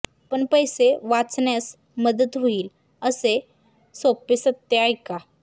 आपण पैसे वाचण्यास मदत होईल असे सोपे सत्य ऐका